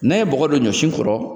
N'an ye bɔgɔ don ɲɔsiw kɔrɔ